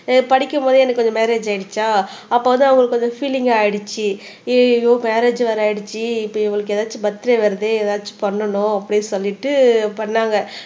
அஹ் படிக்கும் போதே எனக்கு வந்து மேரேஜ் ஆயிடுச்சா அப்போ வந்து அவங்களுக்கு கொஞ்சம் ஃபீலிங் ஆயிடுச்சு ஐயையோ மேரேஜ் வேற ஆயிடுச்சு இப்போ இவங்களுக்கு ஏதாச்சும் பர்த்டே வருதே ஏதாச்சும் பண்ணனும் அப்படீன்னு சொல்லிட்டு பண்ணாங்க